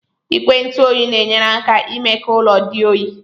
Igwe ntụ oyi na-enyere aka imee ka ụlọ dị oyi.